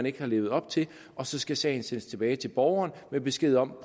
ikke har levet op til og så skal sagen sendes tilbage til borgeren med besked om at